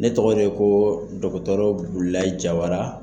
Ne tɔgɔ de ye ko dɔgɔtɔrɔ Burulayi Jawara.